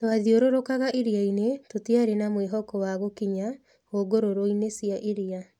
"Twathiũrũrũkaga iria-inĩ tũtiarĩ na mwĩhoko wa gũkinya hũgũrũrũ-inĩ cia iria.